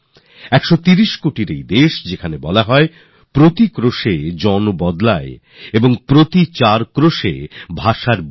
১৩০ কোটি ভারতীয়ের এই দেশ যেখানে বলা হয় প্রতি ক্রোশে জল বদলায় চার ক্রোশে ভাষা